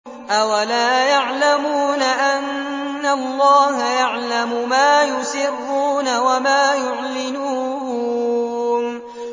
أَوَلَا يَعْلَمُونَ أَنَّ اللَّهَ يَعْلَمُ مَا يُسِرُّونَ وَمَا يُعْلِنُونَ